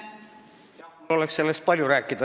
Mul oleks sellest palju rääkida.